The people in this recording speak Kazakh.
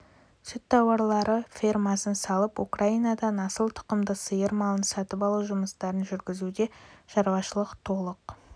сүт тауарлы фермасын салып украинадан асыл тұқымды сиыр малын сатып алу жұмыстарын жүргізуде шаруашылық толық